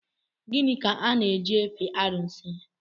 Gịnị ka a na-eji efe arụsị?